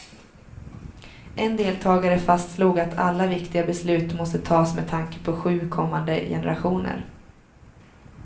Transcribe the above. En deltagare fastslog att alla viktiga beslut måste tas med tanke på sju kommande generationer.